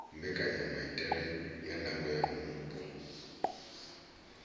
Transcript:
mbekanyamaitele ya ndango ya mupo